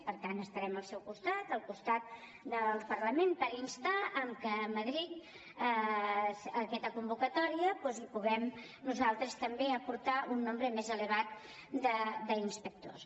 per tant estarem al seu costat al costat del parlament per instar que a madrid a aquesta convocatòria doncs hi puguem nosaltres també aportar un nombre més elevat d’inspectors